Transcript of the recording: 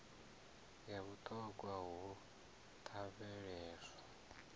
ya vhut hogwa ho lavheleswa